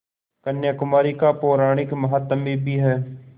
कन्याकुमारी का पौराणिक माहात्म्य भी है